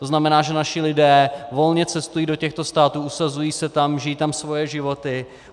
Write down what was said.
To znamená, že naši lidé volně cestují do těchto států, usazují se tam, žijí tam svoje životy.